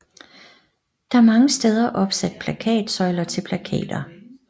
Der er mange steder opsat plakatsøjler til plakater